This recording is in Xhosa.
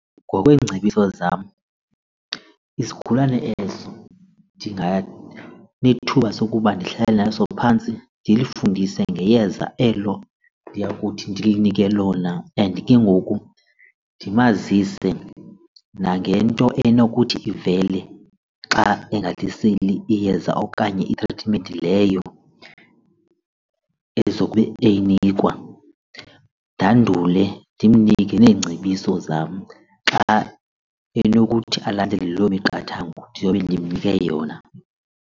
Ngokweengcebiso zam isigulane eso ndinganethuba sokuba ndihlale naso phantsi ndilifundise ngeyeza elo ndiyakuthi ndilinike lona and ke ngoku ndimazise nangento enokuthi ivele xa engaliseli iyeza okanye itritimenti leyo, ezobe eyinikwa. Ndandule ndimnike neengcebiso zam xa enokuthi alandele loo miqathango ndiyobe ndimnike yona.